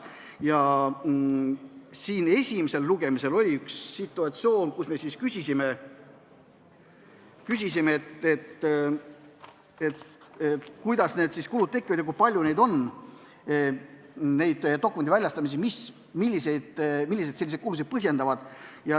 Esimesel lugemisel oli situatsioon, kus me küsisime, kuidas need kulud tekivad ja kui palju on neid dokumentide väljastamisi, mis selliseid kulusid põhjendavad.